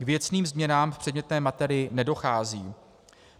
K věcným změnám v předmětné materii nedochází.